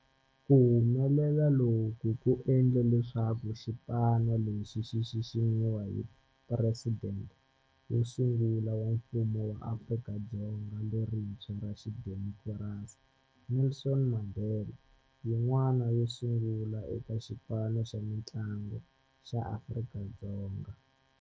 Ku humelela loku ku endle leswaku xipano lexi xi xiximiwa hi Presidente wo sungula wa Mfumo wa Afrika-Dzonga lerintshwa ra xidemokirasi, Nelson Mandela, yin'wana yo sungula eka xipano xa mintlangu xa Afrika-Dzonga.